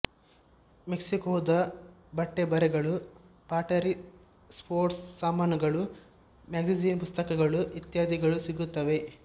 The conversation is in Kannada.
ಮೆಕ್ಸಿಕೋದ ಬಟ್ಟೆಬರೆಗಳು ಪಾಟರಿ ಸ್ಪೋರ್ಟ್ಸ್ ಸಾಮಾನುಗಳು ಮ್ಯಾಗಜೈನ್ ಪುಸ್ತಕಗಳು ಇತ್ಯಾದಿಗಳು ಸಿಗುತ್ತವೆ